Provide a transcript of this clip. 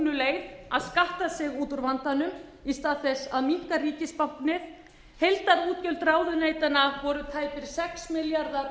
leið að skatta sig út úr vandanum í stað þess að minnka ríkisbáknið heildarútgjöld ráðuneytanna voru tæpir sex milljarðar árið